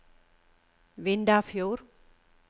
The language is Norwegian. Vindafjord